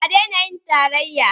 A daina yin Tarayya.